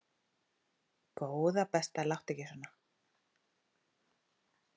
Góða besta láttu ekki svona!